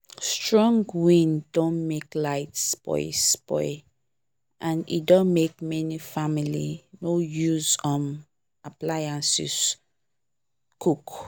strong wind don make light spoil spoil and e don make many family no use um appliances cook